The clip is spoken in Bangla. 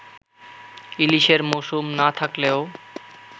ইলিশের মৌসুম না থাকলেও